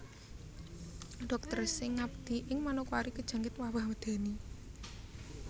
Dokter sing ngabdi ning Manokwari kejangkit wabah medeni